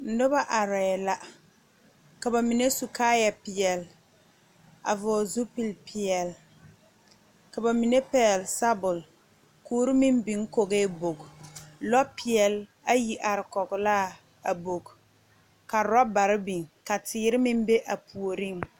Nobɔ arɛɛ la ka ba mine su kaayɛ peɛlɛ a vɔɔle zupil peɛle ka ba mine pɛɛle sabul kuori meŋ biŋ kɔgee bogi lɔ peɛle ayi are kɔglaa a bogi ka rɔbarre biŋ ka teere meŋ be a puoriŋ.